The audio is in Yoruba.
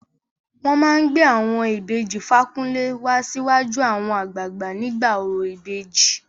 Wọn máa gbé àwọn ìbejì Fakunle wá síwájú àwọn àgbààgbà nígbà orò ìbejì.